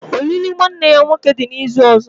Olili nwanne ya nwoke dị n'izu ọzọ